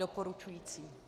Doporučující.